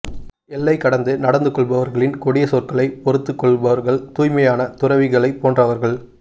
எல்லை கடந்து நடந்து கொள்பவர்களின் கொடிய சொற்களைப் பொறுத்துக் கொள்பவர்கள் தூய்மையான துறவிகளைப் போன்றவர்கள்